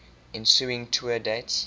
ensuing tour dates